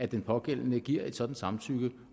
den pågældende giver et sådant samtykke